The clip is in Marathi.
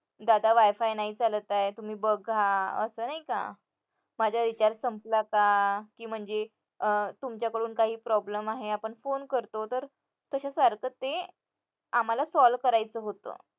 दादा wi-fi नाही चालत आहे तुम्ही बघा असं नाही का माझा recharge संपला का कि म्हणजे तुमच्याकडून काही problem आहे आपण phone करतो तर तशासारखं ते आम्हाला solve करायचं होतं